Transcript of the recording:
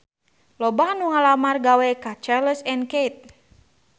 Loba anu ngalamar gawe ka Charles & Keith